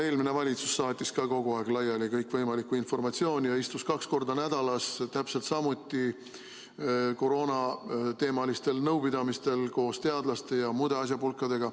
No eelmine valitsus saatis ka kogu aeg laiali kõikvõimalikku informatsiooni ja istus kaks korda nädalas täpselt samuti koroonateemalistel nõupidamistel koos teadlaste ja muude asjapulkadega.